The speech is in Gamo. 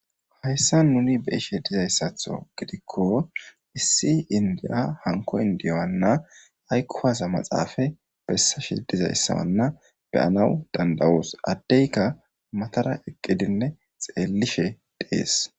Hayssa nuni be ishe dizayssatho gidikko issi indiya hanko indiyo anna aykkuwasa maxaafa bessashe dizayssawanna beyanawu dandawoos addeyka matara eqqidinne xeellishe dhees.